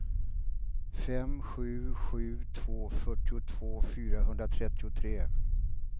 fem sju sju två fyrtiotvå fyrahundratrettiotre